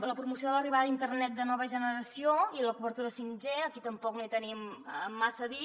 a la promoció de l’arribada d’internet de nova generació i l’obertura 5g aquí tampoc no hi tenim massa a dir